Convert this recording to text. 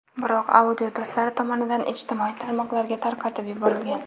Biroq audio do‘stlari tomonidan ijtimoiy tarmoqlarga tarqatib yuborilgan.